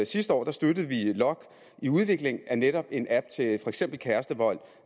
sidste år støttede lokk i udvikling af netop en app til for eksempel kærestevold